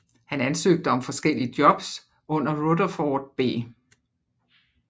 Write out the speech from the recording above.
Han ansøgte om forskellige jobs under Rutherford B